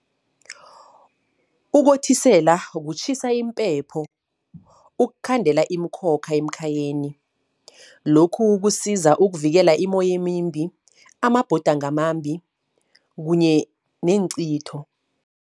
Ukothisela kutjhisa impepho. Ukhandela iimkhokha emkhayeni, lokhu kusiza ukuvikela imoyemimbi, amabhudango amambi kunye neencitho.